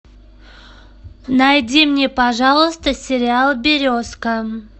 найди мне пожалуйста сериал березка